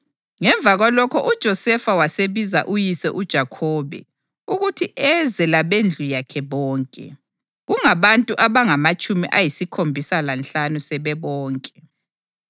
Ngemva kwalokho uJosefa wasebiza uyise uJakhobe ukuthi eze labendlu yakhe bonke, kungabantu abangamatshumi ayisikhombisa lanhlanu sebebonke.